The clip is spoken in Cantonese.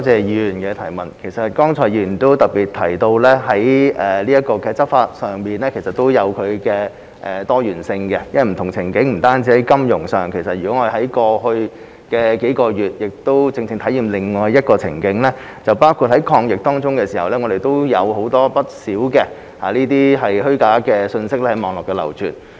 議員剛才也特別提到，在執法上也是有多元性的，因為這問題也在不同的情境下出現，不單在金融方面，例如過去數月便正正是另一個情境，也就是在抗疫期間，我們亦看到不少虛假信息在網絡上流傳。